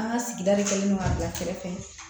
An ka sigida de kɛlen do k'an bila kɛrɛfɛ